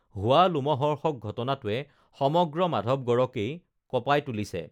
হোৱা লোমহৰ্ষক ঘটনাটোৱে সমগ্ৰ মাধৱগঢ়কেই কঁপাই তুলিছে